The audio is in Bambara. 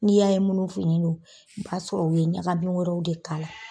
N'i y'a ye munnu fin ne don, i b'a sɔrɔ o ye ɲagamin wɛrɛw de kala.